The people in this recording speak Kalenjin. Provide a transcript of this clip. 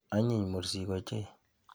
Anyiny mursiik ochei.